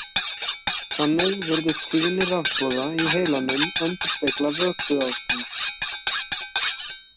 Þannig virðist tíðni rafboða í heilanum endurspegla vökuástand.